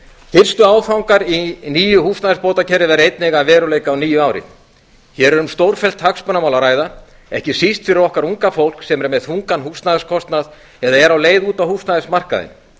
fyrstu áfangar að nýju húsnæðisbótakerfi verða einnig að veruleika á nýju ári hér er um stórfellt hagsmunamál að ræða ekki síst fyrir okkar unga fólk sem er með þungan húsnæðiskostnað eða er á leið út á húsnæðismarkaðinn